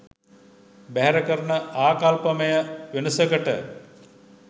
බැහැර කරන ආකල්පමය වෙනසකට